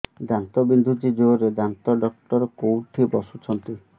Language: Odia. ଦାନ୍ତ ବିନ୍ଧୁଛି ଜୋରରେ ଦାନ୍ତ ଡକ୍ଟର କୋଉଠି ବସୁଛନ୍ତି